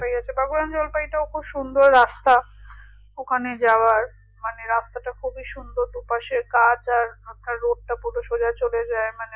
বাবুরাম জলপাইটা খুব সুন্দর রাস্তা ওখানে যাওয়ার মানে রাস্তাটি খুবি সুন্দর দুপাশে গাছ আর মাথায় রোদটা পুরো সোজাই চলে যাই মানে